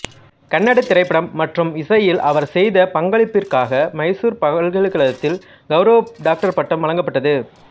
கன்னட திரைப்படம் மற்றும் இசையில் அவர் செய்த பங்களிப்பிற்காக மைசூர் பல்கலைக்கழகத்தில் கௌரவ டாக்டர் பட்டம் வழங்கப்பட்டது